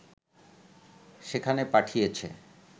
সেখানে পাঠিয়েছে